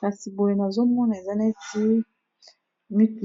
kasi boye na zomona eza neti